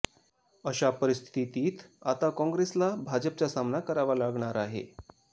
अशा परिस्थितीत आता काँग्रेसला भाजपचा सामना करावा लागणार आहे